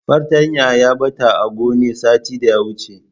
Fartanyar ta ɓata a gone satin daya wuce.